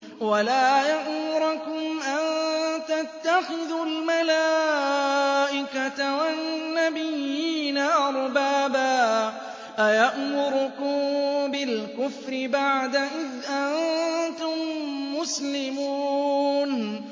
وَلَا يَأْمُرَكُمْ أَن تَتَّخِذُوا الْمَلَائِكَةَ وَالنَّبِيِّينَ أَرْبَابًا ۗ أَيَأْمُرُكُم بِالْكُفْرِ بَعْدَ إِذْ أَنتُم مُّسْلِمُونَ